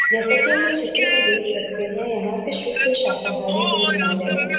जैसा कि हम इस चित्र में देख सकते हैं। यहाँ पे शुद्ध शाकाहारी भोजनालय है।